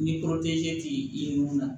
Ni tɛ i ye mun na